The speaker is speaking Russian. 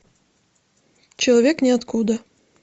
человек ниоткуда